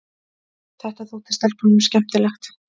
Þetta þótti stelpunum skemmtilegt.